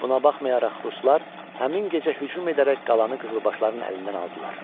Buna baxmayaraq ruslar həmin gecə hücum edərək qalanı qızılbaşların əlindən aldılar.